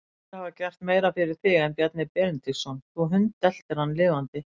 Fáir hafa gert meira fyrir þig en Bjarni Benediktsson, þú hundeltir hann lifandi.